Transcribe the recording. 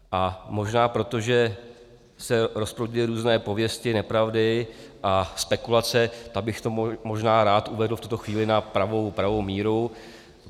A možná protože se rozproudily různé pověsti, nepravdy a spekulace, tak bych to možná rád uvedl v tuto chvíli na pravou míru.